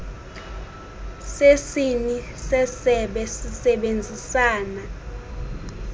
sesini sesebe sisebenzisana